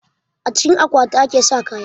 A cikin akwati ake sa kaya